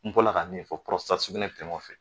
N bɔra la ka min fɔ sugunɛ bɛ tɛmɛ o fɛ